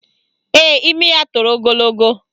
Ee, imi ya toro ogologo